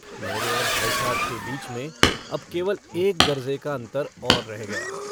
मेरे और भाई साहब के बीच में अब केवल एक दर्ज़े का अन्तर और रह गया।